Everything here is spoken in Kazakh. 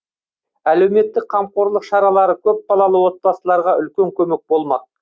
әлеуметтік қамқорлық шаралары көпбалалы отбасыларға үлкен көмек болмақ